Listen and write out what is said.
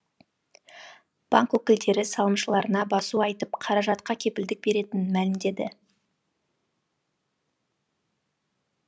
банк өкілдері салымшыларына басу айтып қаражатқа кепілдік беретінін мәлімдеді